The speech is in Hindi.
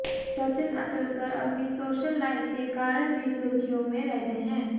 सचिन अतुलकर अपनी सोशल लाइफ के कारण भी सुर्खियों में रहते हैं